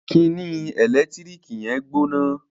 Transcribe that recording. Kíni ẹlẹtíríkì yẹn gbóná